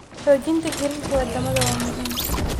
Xoojinta xiriirka wadamada waa muhiim.